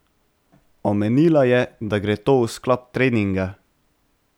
Omenila je, da gre to v sklop treninga.